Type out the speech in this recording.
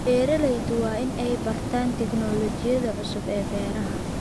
Beeraleydu waa in ay bartaan tignoolajiyada cusub ee beeraha.